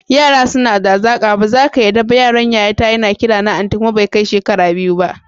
Yara suna da hazaƙa, bazaka yarda ba yaron yayata yana kirana anti kuma bai kai shekara biyu ba.